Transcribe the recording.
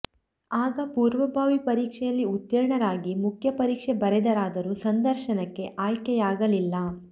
ಆಗ ಪೂರ್ವಭಾವಿ ಪರೀಕ್ಷೆಯಲ್ಲಿ ಉತ್ತೀರ್ಣರಾಗಿ ಮುಖ್ಯ ಪರೀಕ್ಷೆ ಬರೆದರಾದರೂ ಸಂದರ್ಶನಕ್ಕೆ ಆಯ್ಕೆಯಾಗಲಿಲ್ಲ